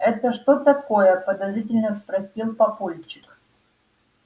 это что такое подозрительно спросил папульчик